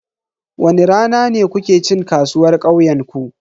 Wani rana ne kuke cin kasuwar kauyenku?